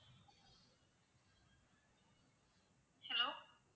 hello